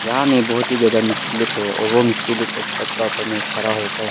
यहाँ में बहोत ही ज्यादा मिस्त्री लोग है और वो मिस्त्री लोग एक छत का ऊपर में खड़ा होकर है।